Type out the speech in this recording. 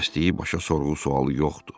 Kəsdiyi başa sorğu-sualı yoxdur.